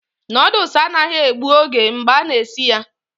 Noodles anaghị egbu oge mgbe a na-esi ya